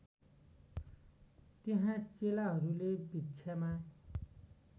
त्यहाँ चेलाहरूले भिक्षामा